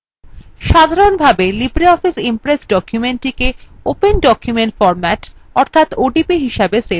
সাধারনভাবে libreoffice impress documentsগুলিকে open document format odp হিসাবে সেভ করে